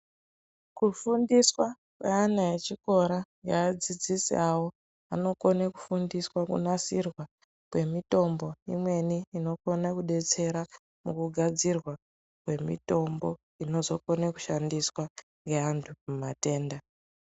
Kufundiswa kweana echikora neadzidzisi avo vanokone kufundiswa kunasirwa kwemitombo imweni inokona kubetsera mukugadzirwa kwemutombo inozokone kushandiswa ngeantu mumatenda.